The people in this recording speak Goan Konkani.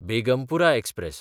बेगमपुरा एक्सप्रॅस